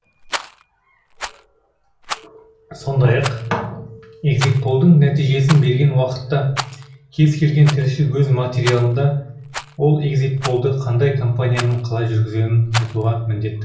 сондай ақ экзитполдың нәтижесін берген уақытта кез келген тілші өз материалында ол экзитполды қандай компанияның қалай жүргізгенін айтуға міндетті